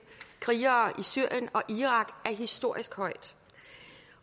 krigere i syrien og irak er historisk højt